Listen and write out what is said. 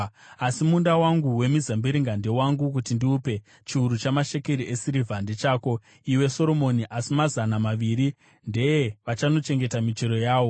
Asi munda wangu wemizambiringa ndewangu kuti ndiupe; chiuru chamashekeri esirivha ndechako, iwe Soromoni, asi mazana maviri ndeevanochengeta michero yawo.